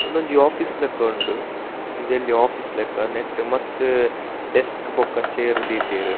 ಉಂದೊಂಜಿ ಓಫೀಸ್ ಲೆಕ್ಕ ಉಂಡು ಒಂಜಿ ಎಲ್ಲ್ಯ ಓಫೀಸ್ ಲೆಕ್ಕ ನೆಟ್ಟ್ ಮಸ್ತ್ ಡೆಸ್ಕ್ ಬೊಕ್ಕ ಚೇರ್ ದೀತೆರ್.